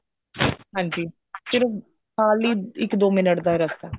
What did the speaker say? ਹਾਂਜੀ ਸਿਰਫ ਨਾਲ ਹੀ ਇੱਕ ਦੋ ਮਿੰਟ ਦਾ ਰਾਸਤਾ ਐ